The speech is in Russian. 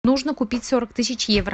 нужно купить сорок тысяч евро